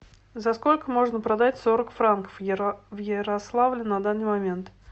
за сколько можно продать сорок франков в ярославле на данный момент